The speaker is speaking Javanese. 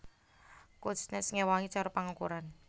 Kuznets ngéwahi cara pangukuran